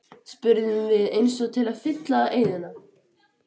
spurðum við eins og til að fylla í eyðuna.